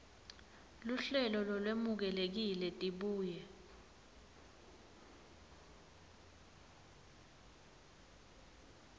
luhlelo lolwemukelekile tibuye